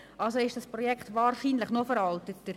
Also ist das Projekt wahrscheinlich noch veralteter.